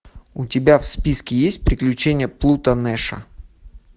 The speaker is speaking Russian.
у тебя в списке есть приключения плуто нэша